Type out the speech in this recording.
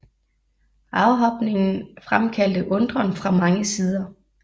Afhopningen fremkaldte undren fra mange sider